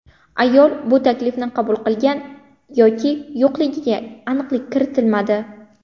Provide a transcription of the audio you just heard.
Ayol bu taklifni qabul qilgan yoki yo‘qligiga aniqlik kiritilmadi.